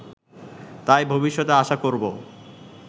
তাই ভবিষ্যতে আশা করব